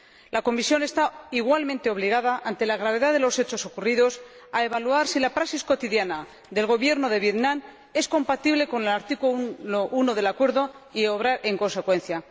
La Comisión está igualmente obligada, ante la gravedad de los hechos ocurridos, a evaluar si la praxis cotidiana del Gobierno de Vietnam es compatible con el artículo 1 del Acuerdo y a obrar en consecuencia.